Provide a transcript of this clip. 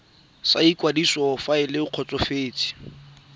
sa ikwadiso fa le kgotsofetse